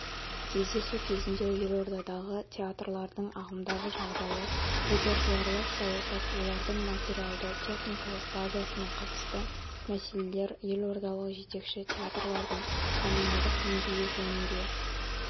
кездесу кезінде елордадағы театрлардың ағымдағы жағдайы репертуарлық саясат олардың материалды-техникалық базасына қатысты мәселелер елордалық жетекші театрлардың танымалдық деңгейі жөнінде